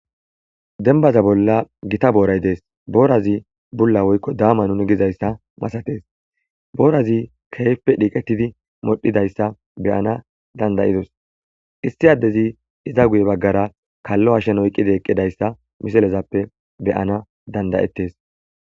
Dembata bolla gita booray dees. Boorati bulla woykko daama nuni gidayssa masatees.boorati keehippe xiiketidi modhidayssa be7anasi danda7ida. Issi addezi iza guyera kalo hashen oyqidi eqidayssa be7anas danda7eetees.